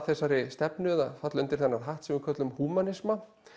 þessari stefnu eða falla undir þennan hatt sem við köllum húmanisma